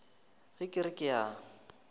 ge ke re ke a